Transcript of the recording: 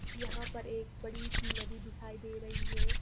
यहाँ पर एक बड़ी सी नदी दिखाई दे रही है।